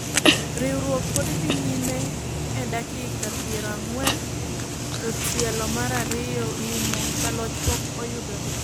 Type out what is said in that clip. Rakruok pod dhi nyime en dakika piero ang'wen to tielo mar ariyo rumo, jaloch pok oyudore.